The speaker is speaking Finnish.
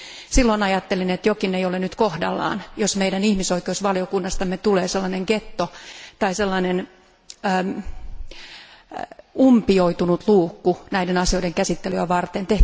Silloin ajattelin, että jokin ei ole nyt kohdallaan, jos meidän ihmisoikeusvaliokunnastamme tulee sellainen ghetto tai sellainen umpioitunut luukku näiden asioiden käsittelyä varten.